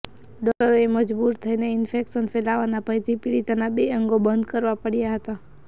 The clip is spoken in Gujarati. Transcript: ડોક્ટરોએ મજબૂર થઇને ઇન્ફેક્શન ફેલાવાના ભયથી પીડિતાના બે અંગો બંધ કરવા પડ્યાં હતા